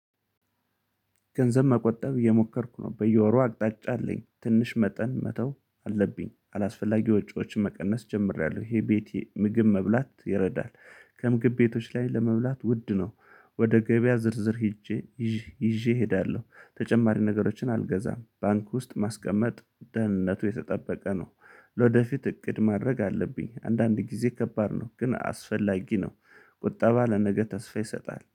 ገንዘብ መቆጠብ እየሞከርኩ ነው በየወሩ አቅጣጫ አለኝ ትንሽ መጠን መተው አለብኝ አላስፈላጊ ወጪዎችን መቀነስ ጀምሬያለሁ ይሄ ቤቴ ምግብ መብላት ይረዳል። ከምግብ ቤቶች ላይ ለመብላት ውድ ነው። ወደ ገበያ ዝርዝር ሄጄ ይዤ እሄዳለሁ ተጨማሪ ነገሮችን አልገዛም። ባንክ ውስጥ ማስቀመጥ ደህንነቱ የተጠበቀ ነው። ለወደፊት እቅድ ማድረግ አለብኝ አንዳንድ ጊዜ ከባድ ነው ግን አስፈላጊ ነው። ቁጠባ ለነገ ተስፋ ይሰጣል